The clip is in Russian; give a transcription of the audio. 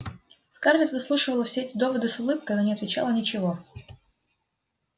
скарлетт выслушивала все эти доводы с улыбкой но не отвечала ничего